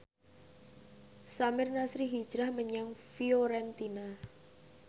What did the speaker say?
Samir Nasri hijrah menyang Fiorentina